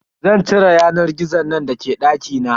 Zan cire yanar gizon nan da ke dakina.